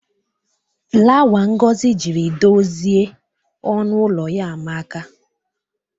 Flawa Ngozi jiri dozie ọnụ ụlọ ya amaka.